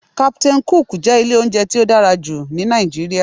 "Captain cook" jẹ́ ilé oúnjẹ tí ó dára jù ní Nàìjíríà